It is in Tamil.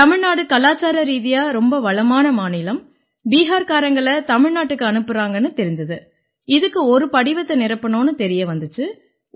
தமிழ்நாடு கலாச்சார ரீதியா ரொம்ப வளமான மாநிலம் பிஹார்காரங்களை தமிழ்நாட்டுக்கு அனுப்பறாங்கன்னு தெரிஞ்சுது இதுக்குனு ஒரு படிவத்தை நிரப்பணும்னு தெரிய வந்திச்சு